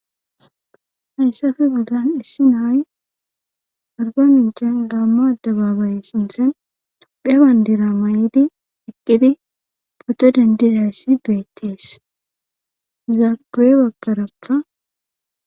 Haysape bollan issi na7ay arbamincen gaamo adebabaye sinthen tophiya bandira mayidi eqqidi pooto denddidayssi beettes iza guye baggarakka .